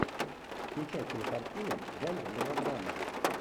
включай кинокартину жанр мелодрама